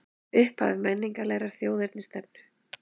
Upphaf menningarlegrar þjóðernisstefnu